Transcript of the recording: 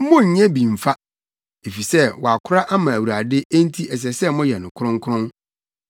Monnyɛ bi mfa, efisɛ wɔakora ama Awurade enti ɛsɛ sɛ moyɛ no kronkron.